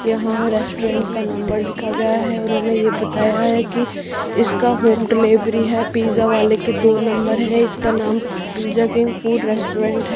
यहां रेस्टोरेंट का नंबर लिखा गया है उन्होंने ये बताया है कि इसका होम डिलीवरी है पिज़्ज़ा वाले के दो नंबर है इसका नाम पिज़्ज़ा किंग फूड रेस्टोरेंट है।